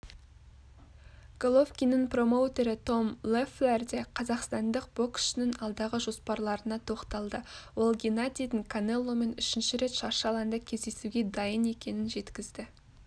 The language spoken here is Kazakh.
головкиннің промоутері том леффлер де қазақстандық боксшының алдағы жоспарларына тоқталды ол геннадийдің канеломен үшінші рет шаршы алаңда кездесуге дайын екенін жеткізді